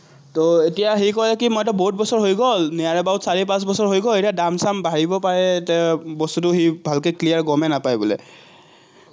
এতিয়া হেৰি কৰে কি মইতো বহুত বছৰ হৈ গল, near about চাৰি-পাঁচ বছৰ হৈ গল, এতিয়া দাম-চাম বাঢ়িব পাৰে, বস্তুটো সি ভালকে clear গমেই নাপায় বোলে।